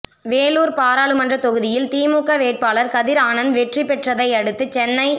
வேலூர் பாராளுமன்ற தொகுதியில் திமுக வேட்பாளர் கதிர் ஆனந்த் வெற்றி பெற்றதையடுத்து சென்னை